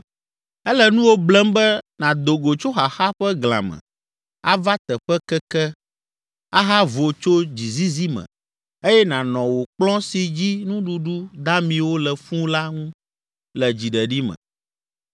“Ele nuwò blem be nàdo go tso xaxa ƒe glã me, ava teƒe keke, ahavo tso dzizizi me eye nànɔ wò kplɔ̃ si dzi nuɖuɖu damiwo le fũu la ŋu le dziɖeɖi me.